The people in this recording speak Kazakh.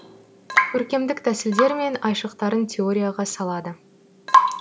көркемдік тәсілдер мен айшықтарын теорияға салады